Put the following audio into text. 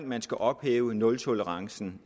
man skal ophæve nultolerancen